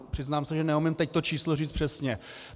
Přiznám se, že neumím teď to číslo říct přesně.